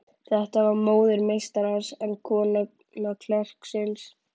Þetta var móðir meistarans, en kona klerksins.